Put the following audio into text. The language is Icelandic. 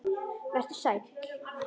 Vertu sæl!